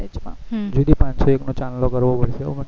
જ્યોતિ પાંચસો એક નો ચાંદલો કરવો પડશે હો પણ